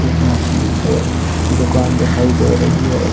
एक मछली टोय की दुकान दिखाई दे रही है।